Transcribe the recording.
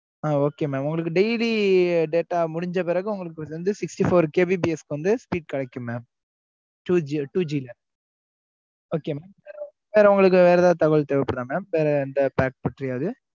ஆம் okay mam உங்களுக்கு daily data முடிஞ்ச பிறகும் உங்களுக்கு வந்து sixty four kbps வந்து speed கிடைக்கும் mam two GB